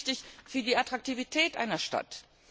Das ist wichtig für die Attraktivität einer Stadt.